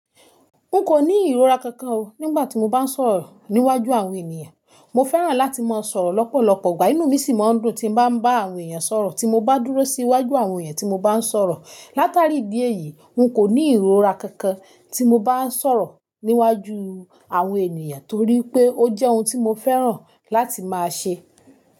N kò ní ìrora kankan o nígbà tí mo bá ń sọ̀rọ̀ níwájú àwọn ènìyàn. Mo fẹ́ràn láti máa sọ̀rọ̀ lọ́pọ̀lọpọ̀, ìgbà inú mi sì máa ń dùn tí bá ń bá àwọn èèyàn sọ̀rọ̀, tí mo bá dúró sí iwájú àwọn èèyàn tí mo bá ń sọ̀rọ̀. Látàrí ìdí èyí, n kò ní ìrora kankan tí mo bá ń sọ̀rọ̀ níwájú àwọn ènìyàn torí pé ó jẹ́ ohun tí mo fẹ́ràn láti máa ṣe.